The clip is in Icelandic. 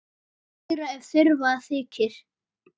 Kryddið meira ef þurfa þykir.